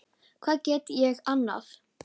Hvað gat ég annað?